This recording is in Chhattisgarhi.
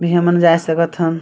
ए हमन जाए सकत हन--